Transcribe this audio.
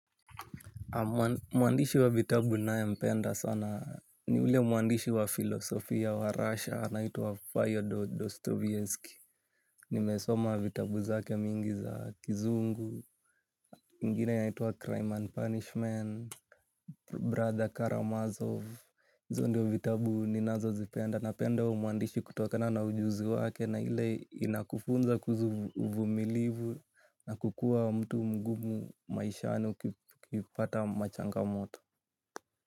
Mwandishi wa vitabu nayempenda sana ni ule mwandishi wa filosofia wa russia anaitwa Fyodor Dostoevsky. Nimesoma vitabu zake mingi za kizungu, ingine inaitwa Crime and Punishment, Brother Karamazov hizo ndio vitabu ninazozipenda napenda huyo mwandishi kutokana na ujuzi wake. Na ile inakufunza kuhuzu uvumilivu na kukua mtu mgumu maishani ukipata machangamoto.